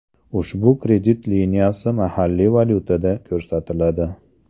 Ushbu kredit liniyasi mahalliy valyutada ko‘rsatiladi.